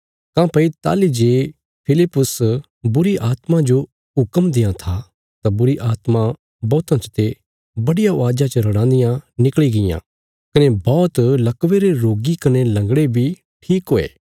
काँह्भई ताहली जे फिलिप्पुस बुरीआत्मा जो हुक्म देआं था तां बुरीआत्मा बौहतां चते बडिया अवाज़ा च रड़ांदियां निकल़ी गईयां कने बौहत लकवे रे रोगी कने लंगड़े बी ठीक हुये